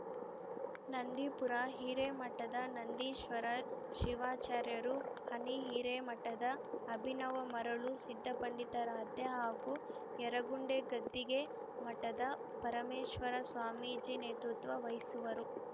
ನಂದಿಪುರ ಹಿರೇಮಠದ ನಂದೀಶ್ವರ ಶಿವಾಚಾರ್ಯರು ಹನ್ನಿ ಹಿರೇಮಠದ ಅಭಿನವ ಮರುಳ ಸಿದ್ದಪಂಡಿತಾರಾಧ್ಯ ಹಾಗೂ ಯರಗುಂಡೆ ಗದ್ದಿಗೆ ಮಠದ ಪರಮೇಶ್ವರ ಸ್ವಾಮೀಜಿ ನೇತೃತ್ವ ವಹಿಸುವರು